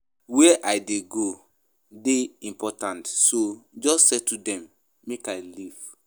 Where I dey go dey important so just settle dem make I leave